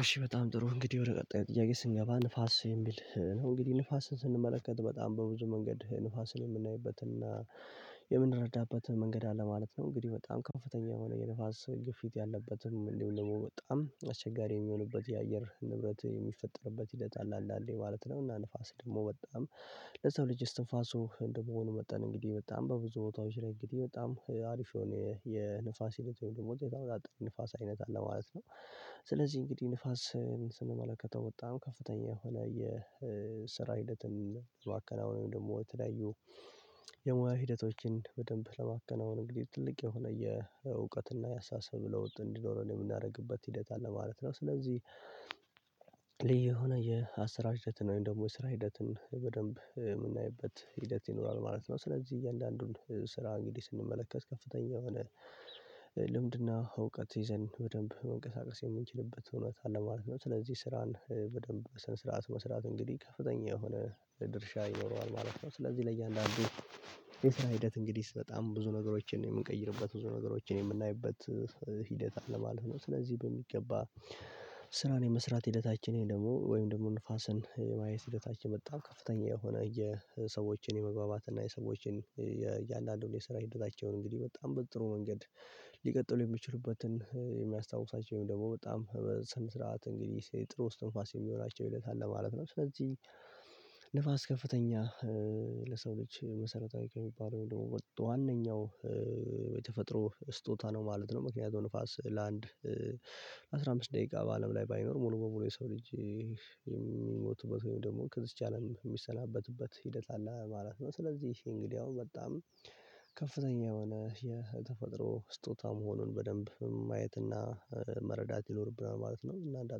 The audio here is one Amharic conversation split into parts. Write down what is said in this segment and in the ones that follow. እሺ በጣም ጥሩ እንግዲህ ወደ ቀጣይ ጥያቄ ስንገባ ንፋስ የሚል ነው እንግዲህ ንፋስን ስንመለከት በጣም በብዙ መንገድ ንፋስን የምናይበት እና የምንረዳበት መንገድ አለ ማለት ነው። እንግዲህ በጣም ከፍተኛ የሆነ የንፋስ ግፊት ያለበትም እንዲሁም ደሞ በጣም አስቸጋሪ የሚሆንበት የአየር ንብረት የሚፈጠርበት ሂደት አለ። አንዳንዴ ማለት ነው እና ንፋስ ደግሞ በጣም ለሰው ልጅ እስትንፋሱ እንደመሆኑ መጠን እንግዲህ በጣም በብዙ ቦታዎች ላይ እንግዲህ በጣም አሪፍ የሆነ የንፋስ ሂደት ወይም ደግሞ የተወጣጠረ ንፋስ አይነት አለ ማለት ነው። ስለዚህ እንግዲህ ንፋስን ስንመለከተው በጣም ከፍተኛ የሆነ የስራ ሂደትን ብዙ አከናውነን ወይም ደግሞ የተለያዩ የሙያ ሂደቶችን በደንብ ለማከናወን እንግዲህ ትልቅ የሆነ የእውቀትና የአስተሳሰብ ለውጥ እንዲኖረን የምናደርግበት ሂደት አለ ማለት ነው። ስለዚህ ልዩ የሆነ የአስራር ሂደት ነው ወይም ደግሞ የስራ ሂደትን በደንብ የምናይበት ሂደት ይኖራል ማለት ነው። ስለዚህ እያንዳንዱን ስራ እንግዲህ ስንመለከት ከፍተኛ የሆነ ልምድና እውቀት ይዘን በደንብ መንቀሳቀስ የምንችልበት እውነት አለ ማለት ነው። ስለዚህ ስራን በደንብ በስነ ስርዓት መስራት እንግዲህ ከፍተኛ የሆነ ድርሻ ይኖረዋል ማለት ነው። ስለዚህ ለእያንዳንዱ የስራ ሂደት እንግዲህ በጣም ብዙ ነገሮችን የምንቀይርበት ብዙ ነገሮችን የምናይበት ሂደት አለ ማለት ነው። ስለዚህ በሚገባ ስራን የመስራት ሂደታችን ወይም ደግሞ ወይም ደግሞ ንፋስን ማየት ሂደታችን በጣም ከፍተኛ የሆነ የሰዎችን የመግባባት እና የሰዎችን የእያንዳንዱን የስራ ሂደታቸውን እንግዲህ በጣም በጥሩ መንገድ ሊቀጥሉ የሚችሉበትን የሚያስታውሳቸውን ወይም ደሞ በጣም በስነ ስርዓት እንግዲህ ጥሩ ስትንፋስ የሚሆናቸው ሂደት አለ ማለት ነው። ስለዚህ ንፋስ ከፍተኛ ለሰው ልጅ መሰረታዊ ከሚባለው ወይም ደግሞ መጦ ዋነኛው የተፈጥሮ ስጦታ ነው ማለት ነው። ምክንያቱም ንፋስ ለአንድ አስራ አምስት ደቂቃ በአለም ላይ ባይኖር ሙሉ በሙሉ የሰው ልጅ የሚሞቱበት ወይም ደግሞ ከዝች አለም የሚሰናበቱበት ሂደት አለ ማለት ነው። ስለዚህ እንግዲህ አሁን በጣም ከፍተኛ የሆነ የተፈጥሮ ስጦታ መሆኑን በደንብ ማየትና መረዳት ይኖርብናል ማለት ነው። እና እንደ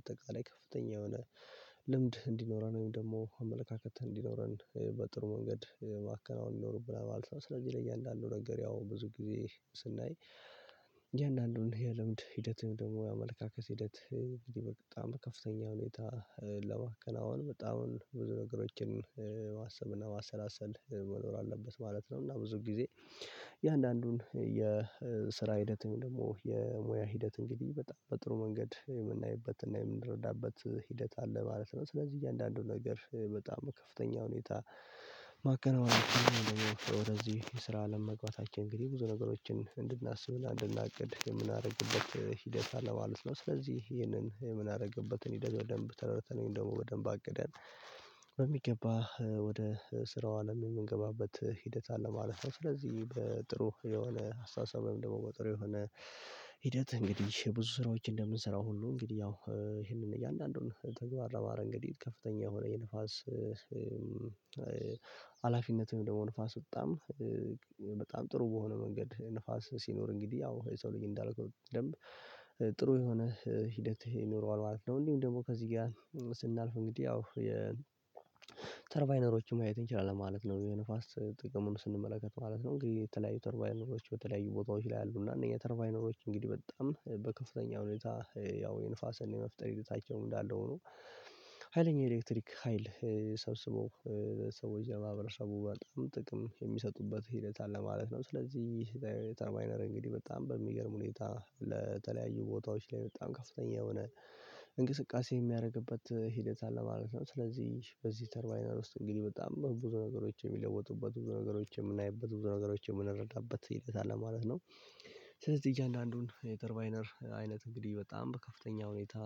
አጠቃላይ ከፍተኛ የሆነ ልምድ እንዲኖረን ወይም ደግሞ አመለካከት እንዲኖረን በጥሩ መንገድ ማከናወን ይኖርብናል ማለት ነው። ስለዚህ ለእያንዳንዱ ነገር ያው ብዙ ጊዜ ስናይ እያንዳንዱን የልምድ ሂደትም ሂደትህን ደግሞ የአመለካከት ሂደት እንግዲህ በጣም ከፍተኛ ሁኔታ ለማከናወን በጣም ብዙ ነገሮችን ማሰብና ማሰላሰል መኖር አለበት ማለት ነው። እና ብዙ ጊዜ የአንዳንዱን የስራ ሂደት ወይም ደግሞ የሙያ ሂደት እንግዲህ በጣም በጥሩ መንገድ የምናይበትና የምንረዳበት ሂደት አለ ማለት ነው። ስለዚህ እያንዳንዱ ነገር በጣም ከፍተኛ ሁኔታ ማከናወን ወደዚህ የስራ አለም መግባታችን እንግዲህ ብዙ ነገሮችን እንድናስብ እያ እንድናቅድ የምናደርግበት ሂደት አለ ማለት ነው። ስለዚህ ይሄንን የምናደርግበትን ሂደት በደንብ ተረድተን ወይም ደግሞ በደንብ አቅደን በሚገባ ወደ ስራው አለም የምንገባበት ሂደት አለ ማለት ነው። ስለዚህ በጥሩ የሆነ አስተሳሰብም ወይም ደግሞ ጥሩ የሆነ ሂደት እንግዲህ ብዙ ስራዎች እንደምንሰራው ሁሉ እንግዲህ ያው ይሄንን እያንዳንዱን ተግባር እንግዲህ ከፍተኛ የሆነ የንፋስ ሀላፊነትም ደግሞ ንፋስ በጣም በጣም ጥሩ በሆነ መንገድ ንፋስ ሲኖር እንግዲህ ያው የሰው ልጅ እንዳልኩት በደንብ ጥሩ የሆነ ሂደት ይኖረዋል ማለት ነው። እንዲሁም ደግሞ ከዚህ ጋር ስናልፍ እንግዲህ ያው ተርቫይነሮችን ማየት እንችላለን ማለት ነው። የንፋስ ጥቅሙን ስንመለከት ማለት ነው። እንግዲህ የተለያዩ ተርባይነሮች በተለያዩ ቦታዎች ላይ አሉ እና አነኛ ተርቫይነሮች እንግዲህ በጣም በከፍተኛ ሁኔታ ያው የንፋስን የመፍጠር ሂደታቸውም እንዳለ ሁኖ ሀይለኛ የኤሌክትሪክ ሀይል ሰብስቦ ሰዎች ለማህበረሰቡ በጣም ጥቅም የሚሰጡበት ሂደት አለ ማለት ነው። ስለዚህ ተርባይነር እንግዲህ በጣም በሚገርም ሁኔታ ለተለያዩ ቦታዎች ላይ በጣም ከፍተኛ የሆነ እንቅስቃሴ የሚያደርግበት ሂደት አለ ማለት ነው። ስለዚህ በዚህ ተርቫይነር ውስጥ እንግዲህ በጣም ብዙ ነገሮች የሚለወጡበት ብዙ ነገሮች የምናይበት ብዙ ነገሮች የምንረዳበት ሂደት አለ ማለት ነው። ስለዚህ እያንዳንዱን የተርባይነር አይነት እንግዲህ በጣም በከፍተኛ ሁኔታ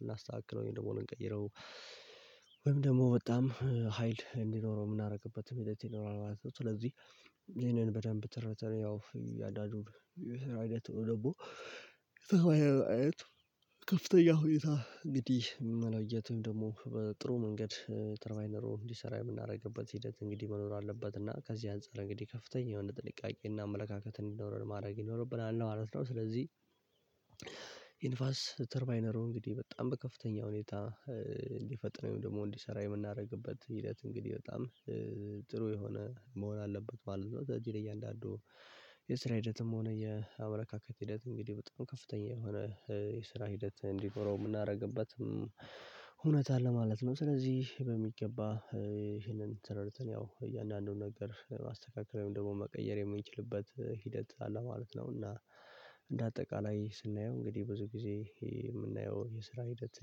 ልናስተካክለው ወይም ደግሞ እንቀይረው ወይም ደግሞ በጣም ሀይል እንዲኖረው የምናደርግበት ሂደት ይኖራል ማለት ነው። ስለዚህ ይሄንን በደንብ ተረድተን ያው ያዳጁን የስራ አይነቱ ደግሞ አየት ከፍተኛ ሁኔታ እንግዲህ መለየትም ደግሞ በጥሩ መንገድ ተርባይነሩ እንዲሰራ የምናደርግበት ሂደት እንግዲህ መኖር አለበት። እና ከዚህ አንፃር እንግዲህ ከፍተኛ የሆነ ጥንቃቄና አመለካከት እንዲኖረን ማድረግ ይኖርብናል ነው ማለት ነው። ስለዚህ የንፋስ ተርማይነሩ እንግዲህ በጣም በከፍተኛ ሁኔታ እንዲፈጥን ወይም ደግሞ እንዲሰራ የምናደርግበት ሂደት እንግዲህ በጣም ጥሩ የሆነ መሆን አለበት ማለት ነው። እዚህ ለእያንዳንዱ የስራ ሂደትም ሆነ የአመለካከት ሂደት እንግዲህ በጣም ከፍተኛ የሆነ የስራ ሂደት እንዲኖረው የምናደርግበት እውነት ለማለት ነው። ስለዚህ በሚገባ ተረድተን ያው እያንዳንዱን ነገር ማስተካከል ወይም ደግሞ መቀየር የምንችልበት ሂደት አለ ማለት ነው። እና እንደ አጠቃላይ ስናየው እንግዲህ ብዙ ጊዜ የምናየው የስራ ሂደት